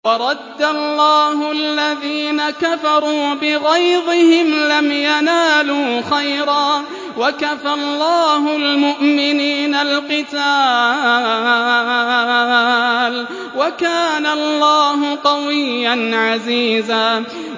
وَرَدَّ اللَّهُ الَّذِينَ كَفَرُوا بِغَيْظِهِمْ لَمْ يَنَالُوا خَيْرًا ۚ وَكَفَى اللَّهُ الْمُؤْمِنِينَ الْقِتَالَ ۚ وَكَانَ اللَّهُ قَوِيًّا عَزِيزًا